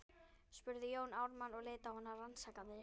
spurði Jón Ármann og leit á hana rannsakandi.